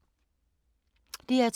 DR2